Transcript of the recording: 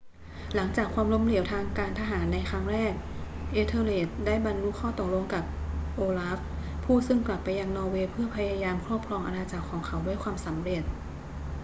หลังจากความล้มเหลวทางการทหารในครั้งแรก ethelred ได้บรรลุข้อตกลงกับ olaf ผู้ซึ่งกลับไปยังนอร์เวย์เพื่อพยายามครอบครองอาณาจักรของเขาด้วยความสำเร็จ